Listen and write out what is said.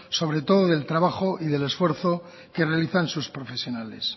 sobre todo del trabajo y del esfuerzo que realizan sus profesionales